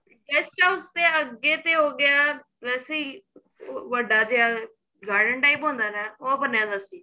guest house ਦੇ ਅੱਗੇ ਤੇ ਹੋ ਗਿਆ ਰਸੀ ਵੱਡਾ ਜਿਹਾ garden type ਹੁੰਦਾ ਨਾ ਉਹ ਬਣਿਆ ਪਿਆ ਸੀ